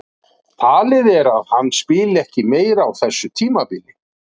Talið er að hann spili ekki meira á þessu tímabili.